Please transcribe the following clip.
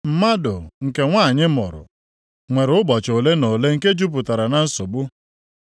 “Mmadụ nke nwanyị mụrụ nwere ụbọchị ole na ole nke jupụtara na nsogbu.